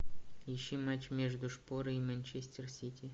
ищи матч между шпорой и манчестер сити